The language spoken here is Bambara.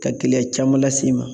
Ka gɛlɛya caman las'i ma